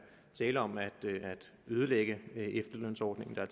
tale om at ødelægge efterlønsordningen der